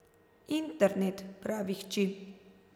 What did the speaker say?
Internet, pravi hči.